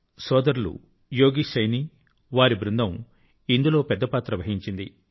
భాయి యోగేశ్ సైనీ వారి బృందం ఇందులో పెద్ద పాత్ర వహించింది